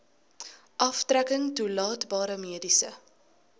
aftrekking toelaatbare mediese